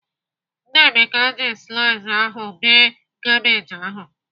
Nnameka ji slaiza ahụ bee kabej ahụ.